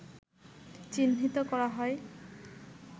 চিহ্নিত করা হয়